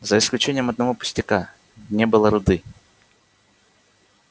за исключением одного пустяка не было руды